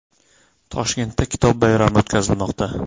Toshkentda kitob bayrami o‘tkazilmoqda .